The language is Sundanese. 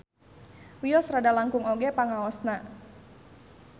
Wios rada langkung oge pangaosna